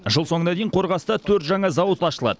жыл соңына дейін қорғаста төрт жаңа зауыт ашылады